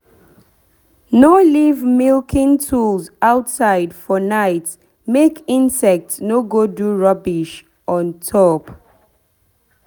no leave milking tools outside for night make insect no go do rubbish on top